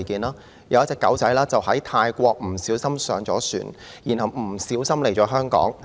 有一隻小狗意外地在泰國登上一艘船，來到香港。